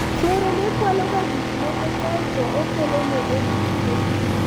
chuore ne kwalo ga gikmoko kaeto okelone e duke